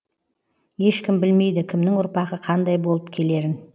ешкім білмейді кімнің ұрпағы қандай болып келерін